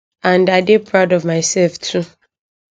and i dey proud of mysef too